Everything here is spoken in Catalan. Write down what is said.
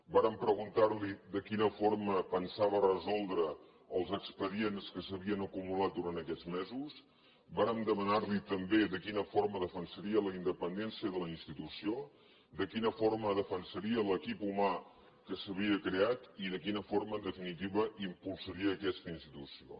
vàrem preguntar li de quina forma pensava resoldre els expedients que s’havien acumulat durant aquests mesos vàrem demanar li també de quina forma defensaria la independència de la institució de quina forma defensaria l’equip humà que s’havia creat i de quina forma en definitiva impulsaria aquesta institució